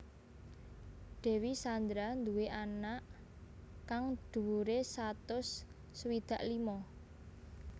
Dewi Sandra nduwé awak kang dhuwuré satus swidak limo